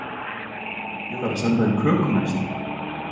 Ég þarf að senda þeim köku næst.